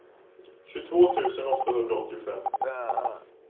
tjugotvå tusen åttahundraåttiofem